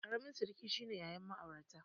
Ƙaramin sirki shine yayan ma'airata